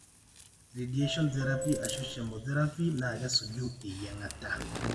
radiation therapy ashu chemotherapy na kesuju eyiangata.